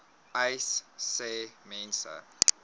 uys sê mense